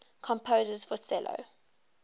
composers for cello